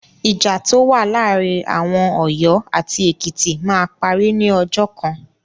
Ìjà tó wà láàárí àwọn Ọ̀yọ́ àti Ekìtì máa parí ní ọjọ́ kan.